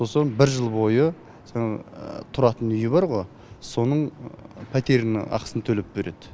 сосын бір жыл бойы жаңағы тұратын үйі бар ғой соның пәтерінің ақысын төлеп береді